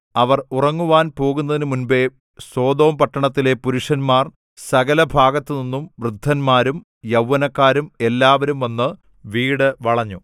അവർ ഉറങ്ങുവാൻ പോകുന്നതിനുമുമ്പേ സൊദോംപട്ടണത്തിലെ പുരുഷന്മാർ സകല ഭാഗത്തുനിന്നും വൃദ്ധന്മാരും യൗവനക്കാരും എല്ലാവരും വന്നു വീടു വളഞ്ഞു